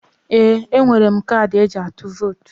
Ee! E nwere m kadị e ji atụ vot.